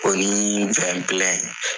o ni